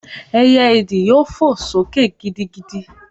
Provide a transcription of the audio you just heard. Ẹyẹ ìdí yóò fò sókè gidigidi